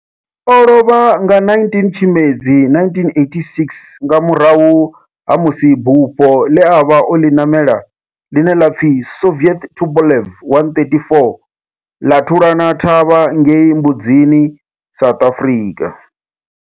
O lovha nga 19 Tshimedzi 1986 nga murahu ha musi bufho le a vha o li namela, line la pfi Soviet Tupolev 134 la thulana thavha ngei Mbudzini, South Africa.